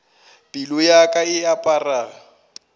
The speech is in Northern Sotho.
pelo ya ka e apara